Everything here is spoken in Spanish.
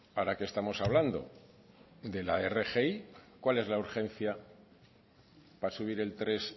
ahora que estamos hablando de la rgi cuál es la urgencia para subir el tres